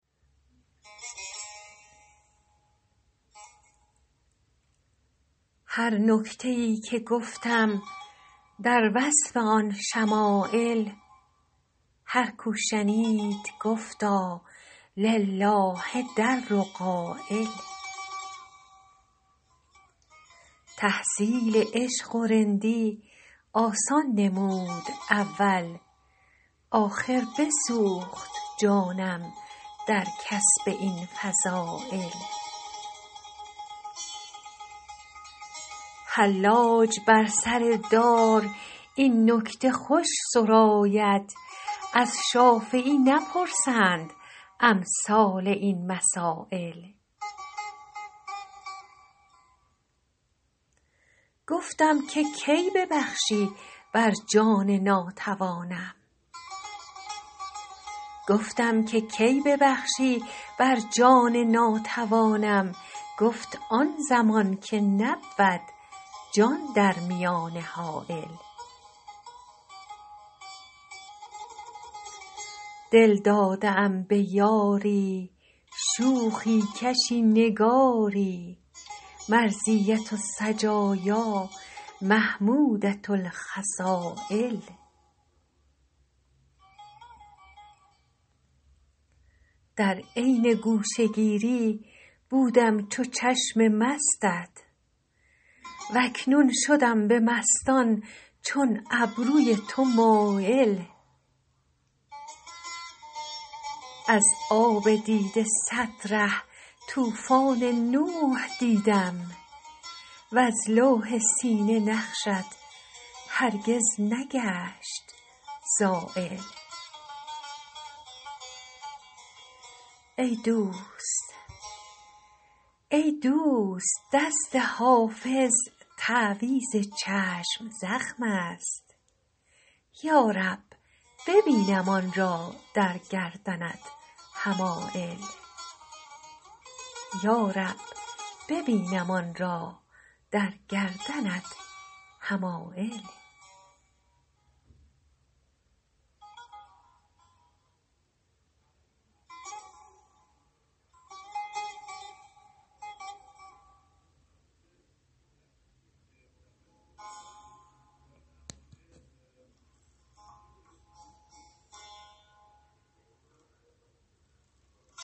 هر نکته ای که گفتم در وصف آن شمایل هر کو شنید گفتا لله در قایل تحصیل عشق و رندی آسان نمود اول آخر بسوخت جانم در کسب این فضایل حلاج بر سر دار این نکته خوش سراید از شافعی نپرسند امثال این مسایل گفتم که کی ببخشی بر جان ناتوانم گفت آن زمان که نبود جان در میانه حایل دل داده ام به یاری شوخی کشی نگاری مرضیة السجایا محمودة الخصایل در عین گوشه گیری بودم چو چشم مستت و اکنون شدم به مستان چون ابروی تو مایل از آب دیده صد ره طوفان نوح دیدم وز لوح سینه نقشت هرگز نگشت زایل ای دوست دست حافظ تعویذ چشم زخم است یا رب ببینم آن را در گردنت حمایل